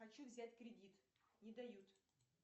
хочу взять кредит не дают